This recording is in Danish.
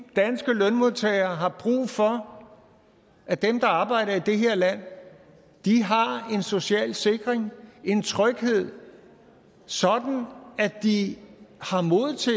danske lønmodtagere har brug for at dem der arbejder i det her land har en social sikring en tryghed sådan at de har mod til